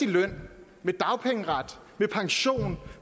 løn med dagpengeret med pension